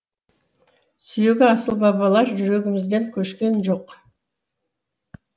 сүйегі асыл бабалар жүрегімізден көшкен жоқ